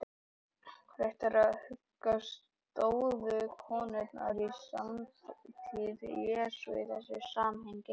Rétt er að huga að stöðu konunnar í samtíð Jesú í þessu samhengi.